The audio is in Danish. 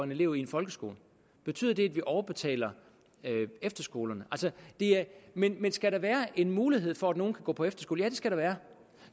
elev i en folkeskole betyder det at vi overbetaler efterskolerne men skal der være mulighed for at nogen kan gå på efterskole ja det skal der være